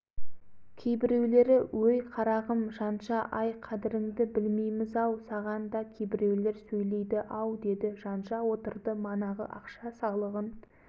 қуанай қазіреттердің салықтардың жылағаны былай тұрсын әуелі балтанұлы жәленұлдары тәрізді студенттер жылады